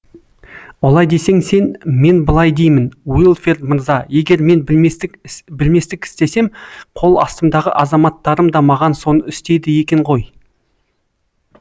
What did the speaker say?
олай десең сен мен былай деймін уилфред мырза егер мен білместік істесем қол астымдағы азаматтарым да маған соны істейді екен ғой